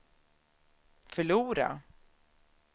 förlora